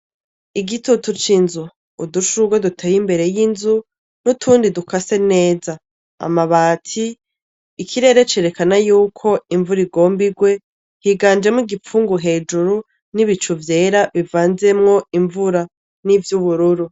Igitutu c'inzu, udushurwe duteye imbere y'inzu, n'utundi dukase neza, amabati, ikirere cerekana yuko imvura igomb'irwe ,higanjemwo igipfungu hejuru n'ibicu vyera bivanzemwo imvura ,nivy'ubururu.